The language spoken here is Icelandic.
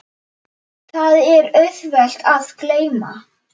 Það er auðvelt að gleyma.